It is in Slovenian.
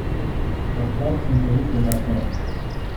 Pokrov sunkovito zapre.